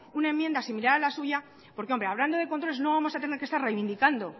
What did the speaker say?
una enmienda similar a la suya porque hombre hablando de controles no vamos a tener que estar reivindicando